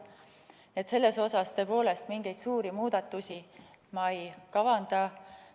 Selles ma tõepoolest mingeid suuri muudatusi ei kavanda.